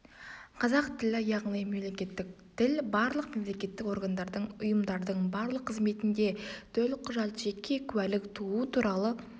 қазақ тілі яғни мемлекеттік тіл барлық мемлекеттік органдардың ұйымдардың барлық қызметінде төлқұжат жеке куәлік туу туралы